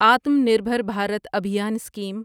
Atma Nirbhar Bharat Abhiyan scheme